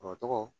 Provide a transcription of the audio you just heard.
O tɔgɔ